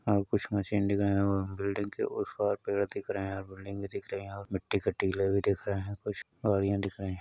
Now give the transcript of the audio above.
और कुछ मशीन दिख रहे हैं और बिल्डिंग के उस पार पेड़ दिख रहे हैं। बिल्डिंग भी दिख रही है और मिट्टी के टीले भी दिख रहे है कुछ और यहाँ दिख रहे --